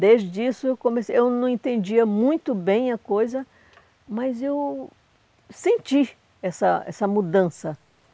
Desde isso, eu comecei eu não entendia muito bem a coisa, mas eu senti essa essa mudança.